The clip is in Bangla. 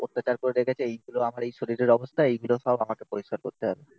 অত্যাচার করে রেখেছে. এইগুলো আমার এই শরীরের অবস্থা. এইগুলো সব আমাকে পরিষ্কার করতে হবে